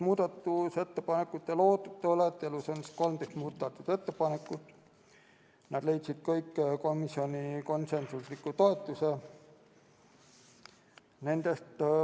Muudatusettepanekuid on 13, need kõik leidsid komisjoni konsensusliku toetuse.